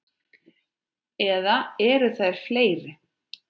Eða eru þær fleiri?